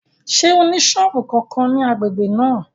Ṣé ó ní sọ́ọ̀bù kankan ní agbègbè náà?